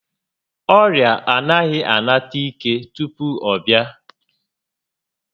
Ọrịa anaghị a nata ike tupu ọ bịa